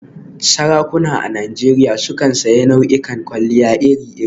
Sarakuna a Najeriya sukan sanya nau'ikan kwalliya iri-iri.